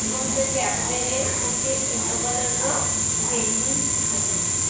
ଏବଂ ସେ କ୍ୟାଫେ ରେ କିଛି ୟଲୋ କଲର ବେଲୁନ ଦେଖାଯାଉଛି।